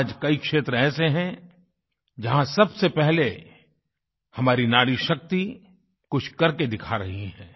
आज कई क्षेत्र ऐसे हैं जहाँ सबसे पहले हमारी नारीशक्ति कुछ करके दिखा रही है